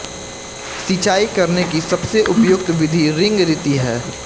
सिंचाई करने की सबसे उपयुक्त विधि रिंग रीति है